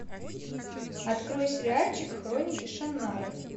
открой сериальчик хроники шаннары